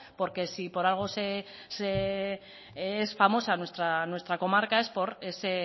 porque si por algo es famosa nuestra comarca es por ese